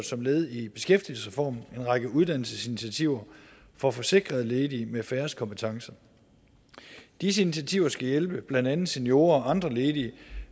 som led i beskæftigelsesreformen en række uddannelsesinitiativer for forsikrede ledige med færrest kompetencer disse initiativer skal hjælpe blandt andet seniorer og andre ledige